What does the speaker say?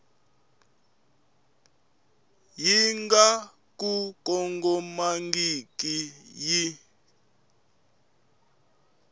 yi nga ku kongomangiki yi